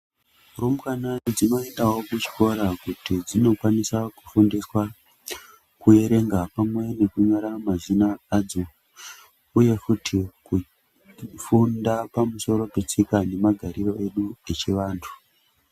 Rumbwana dzinoendawo kuchikora kuti dzinokwaniswa kufundiswa kuerenga pamwe nekunyora mazina adzo uye futi kufunda pamusoro petsika nemagariro edu echivantu.